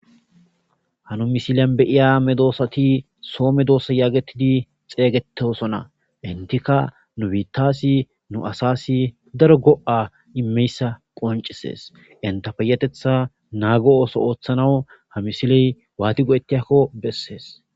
Hanu misilyan beyiya me doosati soome doosa yaagetidi xeeygetesona intika nu biittasi nu asasi daro go'a immeyssa qoncisees intapeyatetha naago ooso ooththanawu ha misiley waati go'ettiakko bessees.